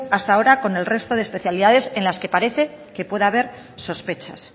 hasta ahora con el resto de especialidades en las que parece que pueda a ver sospechas